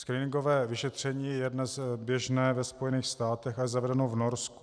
Screeningové vyšetření je dnes běžné ve Spojených státech a je zavedeno v Norsku.